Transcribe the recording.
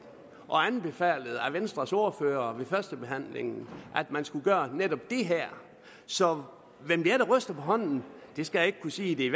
og venstres ordfører der ved førstebehandlingen at man skulle gøre netop det her så hvem det er der ryster på hånden skal jeg ikke kunne sige det er